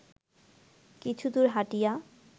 কিছুদূর হাঁটিয়া